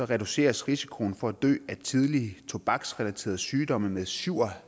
reduceres risikoen for at dø tidligt af tobaksrelaterede sygdomme med syv og